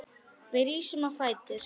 Við rísum á fætur.